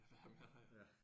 At være med